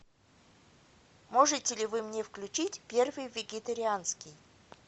можете ли вы мне включить первый вегетарианский